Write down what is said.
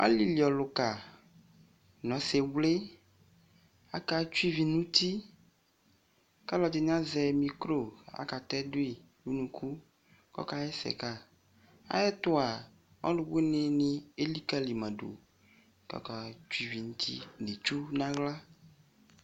Alɩliɔlʋka nʋ ɔsɩvlɩ akatsue ivi nʋ uti kʋ alʋɛdɩnɩ azɛ mikro kʋ akatɛ dʋ yɩ nʋ unuku kʋ ɔkaɣa ɛsɛ ka Ayɛtʋ a, ɔlʋwɩnɩ elikǝli ma dʋ kʋ akatsue ivi nʋ uti nʋ itsu nʋ aɣla